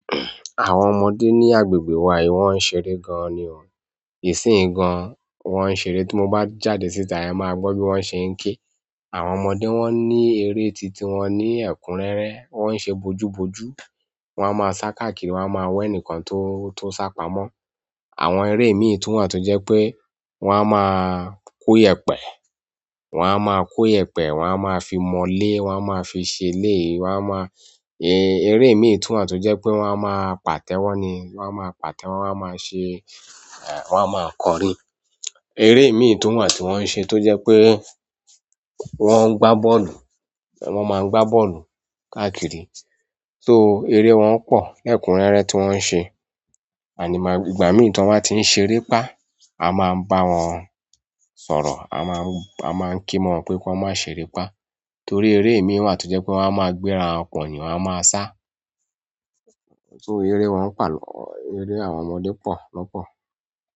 Àwọn ọmọdé ní agbègbè wa yìí wọ́n ń ṣeré gan-an ni ọ́. Ìsínyì gan-an wọ́n ń ṣeré. Ti mo ba jáde síta ema gbo bi won se n ke. Àwọn ọmọdé wọ́n ní eré titun, wọ́n ní ẹ̀kúnrẹ́rẹ́, wọ́n ń ṣe bojúbojú. Wọ́n a máa sá káàkiri, wọ́n a máa wẹ́ ẹnìkan tó, tó sá pamọ́. Àwọn eré mìí tun wa tó jẹ́ pé wọ́n a máa kó yèpẹ̀, wọ́n a máa kó yèpẹ̀, wọ́n a máa fi mọ lé, wọ́n a máa fi ṣe lé, wọ́n a máa. Èrè mì tun wa tó jẹ́ pé wọ́n a máa pàtẹ́wọ́ ni, wọ́n a máa pàtẹ́wọ́, wọ́n a máa ṣe, wọ́n a máa kọrin. Eré mìíràn tun wà tí wọ́n ń ṣe tó jẹ́ pé wọ́n ń gbá bọ́ọ̀lù, wọ́n máa ń gbá bọ́ọ̀lù káàkiri. So eré wọn pọ̀, lẹ̀kúnrẹ́rẹ́ tí wọ́n ń ṣe. Àní máa-- ìgbà mìíràn tí wọ́n bá tí ń ṣeré pá, a máa ń bá wọn sọ̀rọ̀, a máa ń, a máa ń kí wọn pé kí wọ́n má ṣe rí pá. Torí eré mìíràn tó jẹ́ pé wọ́n a máa gbéra pon yin wọ́n a máa sá. So eré wọn ń pọ̀ lọ, eré àwọn ọmọdé pọ̀ lọ́pọ̀.